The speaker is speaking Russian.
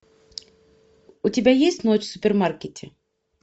у тебя есть ночь в супермаркете